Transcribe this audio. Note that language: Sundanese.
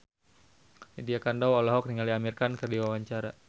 Lydia Kandou olohok ningali Amir Khan keur diwawancara